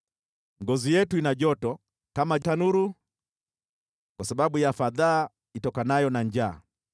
Ngozi yetu ina joto kama tanuru, kwa sababu ya fadhaa itokanayo na njaa.